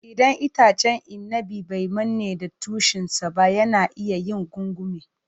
Idan itacen inabi bai manne da tushen sa ba, yana iya yin gungume.